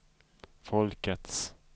folkets